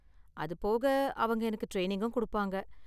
அது போக, அவங்க எனக்கு ட்ரைனிங்கும் கொடுப்பாங்க.